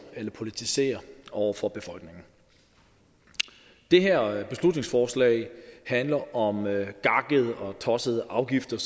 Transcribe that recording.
eller politisere over for befolkningen det her beslutningsforslag handler om gakkede og tossede afgifter